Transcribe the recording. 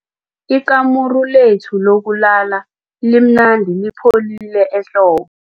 Ikamuru lethu lokulala limnandi lipholile ehlobo.